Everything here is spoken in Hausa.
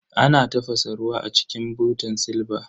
Ana tafasa ruwa a cikin butan silba.